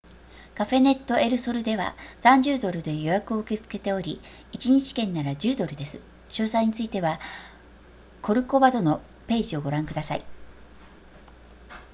カフェネットエルソルでは30ドルで予約を受け付けており1日券なら10ドルです詳細についてはコルコバドのページをご覧ください